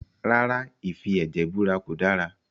Rárá, ìfi ẹ̀jẹ̀ búra kò dára